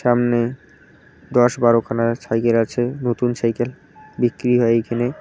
সামনে দশ বারোখানা সাইকেল আছে নতুন সাইকেল বিক্রি হয় এইখানে।